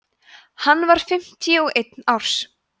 hann var fimmtíu og einn árs